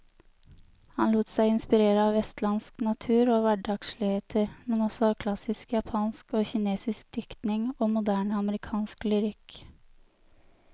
Han lot seg inspirere av vestlandsk natur og hverdagsligheter, men også av klassisk japansk og kinesisk diktning og moderne amerikansk lyrikk.